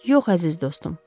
Yox, əziz dostum.